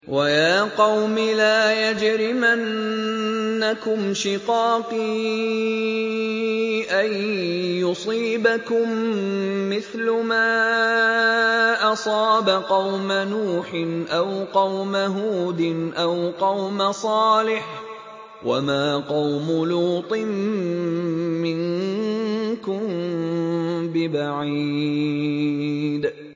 وَيَا قَوْمِ لَا يَجْرِمَنَّكُمْ شِقَاقِي أَن يُصِيبَكُم مِّثْلُ مَا أَصَابَ قَوْمَ نُوحٍ أَوْ قَوْمَ هُودٍ أَوْ قَوْمَ صَالِحٍ ۚ وَمَا قَوْمُ لُوطٍ مِّنكُم بِبَعِيدٍ